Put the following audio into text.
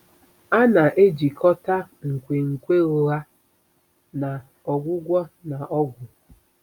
A na-ejikọta nkwenkwe ụgha na ọgwụgwọ na ọgwụ.